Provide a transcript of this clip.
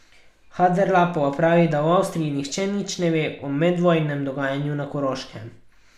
Haderlapova pravi, da v Avstriji nihče nič ne ve o medvojnem dogajanju na Koroškem.